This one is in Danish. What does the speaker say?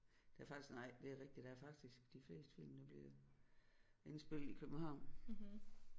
Der er faktisk nej det er rigtigt der er faktisk de fleste film de bliver indspillet i København